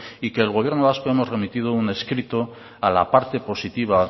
y que el gobierno vasco hemos remitido un escrito a la parte positiva